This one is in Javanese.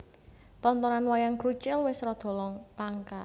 Tontonan Wayang Krucil wis rada langka